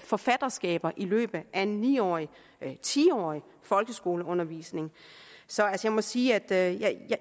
forfatterskaber i løbet af en ni årig eller ti årig folkeskoleundervisning så jeg må sige at